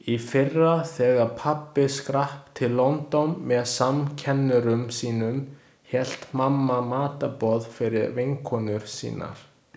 Í fyrra þegar pabbi skrapp til London með samkennurum sínum hélt mamma matarboð fyrir vinkonur sínar.